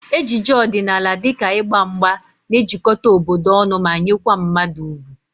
Ejije ọdịnala dịka ịgba mgba na-ejikọta obodo ọnụ ma nyekwa mmadụ ugwu